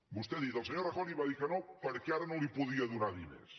vostè ha dit el senyor rajoy li va dir que no perquè ara no li podia donar diners